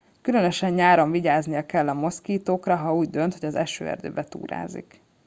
különösen nyáron vigyáznia kell a moszkitókra ha úgy dönt hogy az esőerdőben túrázik